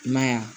I m'a ye wa